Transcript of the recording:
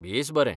बेस बरें!